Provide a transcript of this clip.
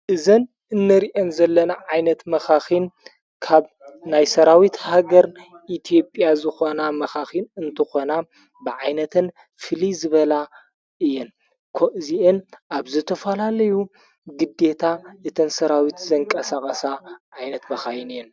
እዘን እንርአን ዘለና ዓይነት መኻኺን ካብ ናይሠራዊት ሃገር ኢትዮጵያ ዝኾና መኻኺን እንተኾና ብዓይነትን ፊልዝበላ እየን እዚእን ኣብ ዘተፈላለዩ ግዲታ እተንሠራዊት ዘንቀሰቐሣ ዓይነት መኻይን እየን።